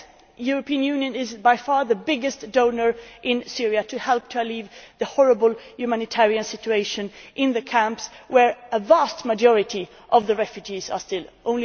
Yes. The European Union is by far the biggest donor in Syria helping to alleviate the horrible humanitarian situation in the camps, where a vast majority of the refugees still are.